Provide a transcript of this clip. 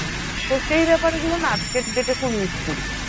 তো সেই ব্যাপার গুলো না আজকের date খুব miss করি।